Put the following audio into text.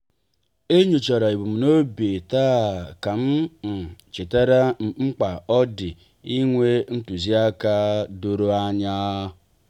e nyochara ebumnobi taa kam um chetara mkpa ọ dị inwe ntuziaka doro anya.